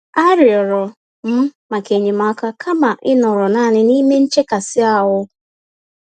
A rịọrọ m maka enyemaka kama ịnọrọ nanịm n'ime nchekasị-ahụ